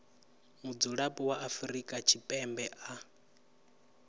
mudzulapo wa afrika tshipembe a